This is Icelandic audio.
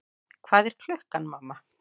Hvað er klukkan, mamma?